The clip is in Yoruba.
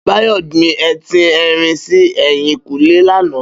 Bayo gbin étin èrin si èyinkúnlé làná